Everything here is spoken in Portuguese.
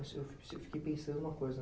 Eu fiquei pensando uma coisa.